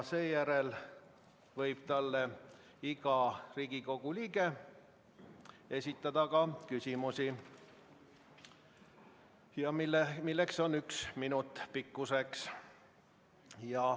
Seejärel võib talle iga Riigikogu liige esitada ka küsimusi, mille pikkus on üks minut.